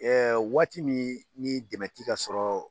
Ɛ waati min ni dɛmɛ ti ka sɔrɔ